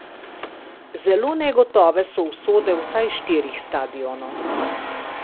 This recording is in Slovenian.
Zelo negotove so usode vsaj štirih stadionov.